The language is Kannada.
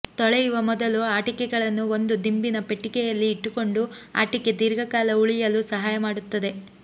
ತೊಳೆಯುವ ಮೊದಲು ಆಟಿಕೆಗಳನ್ನು ಒಂದು ದಿಂಬಿನ ಪೆಟ್ಟಿಗೆಯಲ್ಲಿ ಇಟ್ಟುಕೊಂಡು ಆಟಿಕೆ ದೀರ್ಘಕಾಲ ಉಳಿಯಲು ಸಹಾಯ ಮಾಡುತ್ತದೆ